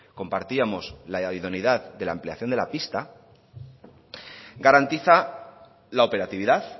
compartíamos la idoneidad de la ampliación de la pista garantiza la operatividad